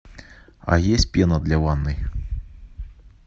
а есть пена для ванны